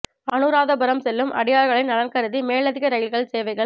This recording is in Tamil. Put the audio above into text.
அனுராதபுரம் செல்லும் அடியார்களின் நலன் கருதி மேலதிக ரெயில்கள் சேவைகள்